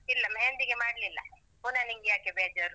ಇಲ್ಲ मेहंदी ಗೆ ಮಾಡ್ಲಿಲ್ಲ. ಪುನಃ ನಿಂಗ್ಯಾಕೆ ಬೇಜಾರು.